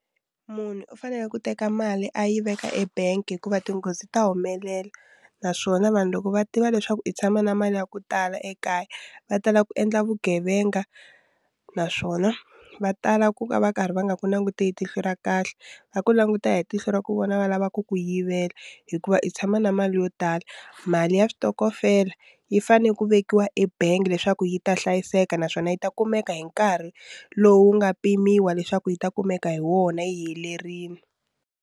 Munhu u fanele ku teka mali a yi veka ebangi hikuva tinghozi ta humelela naswona vanhu loko va tiva leswaku i tshama na mali ya ku tala ekaya va tala ku endla vugevenga naswona va tala ku va va karhi va nga ku languti hi tihlo ra kahle va ku languta hi tihlo ra ku vona va lava ku ku yivela hikuva i tshama na mali yo tala mali ya switokofela yi fane ku vekiwa ebangi leswaku yi ta hlayiseka naswona yi ta kumeka hi nkarhi lowu nga pimiwa leswaku yi ta kumeka hi wona yi helerile.